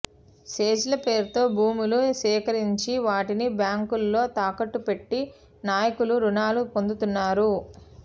సెజ్ల పేరుతో భూములు సేకరించి వాటిని బ్యాంకుల్లో తాకట్టు పెట్టి నాయకులు రుణాలు పొందుతున్నారు